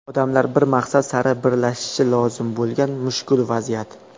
Odamlar bir maqsad sari birlashishi lozim bo‘lgan mushkul vaziyat.